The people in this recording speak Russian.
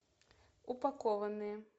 упакованные